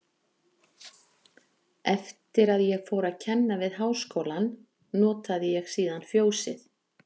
Eftir að ég fór að kenna við Háskólann, notaði ég síðan Fjósið